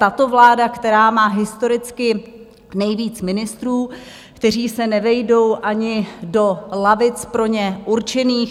Tato vláda, která má historicky nejvíc ministrů, kteří se nevejdou ani do lavic pro ně určených.